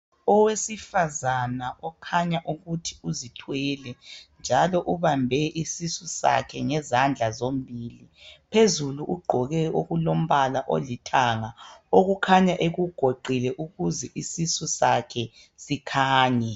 Owesifazana okhanya ukuthi uzithwele njalo ubambe isisu sakhe ngezandla zombili. Phezulu ugqoke okulombala olithanga okukhanya ekugoqile ukuze isisu sakhe sikhanye.